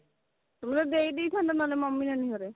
ଦେଇ ଦେଇ ଥାନ୍ତା ନହେଲେ ମମି ନାନୀ ଘରେ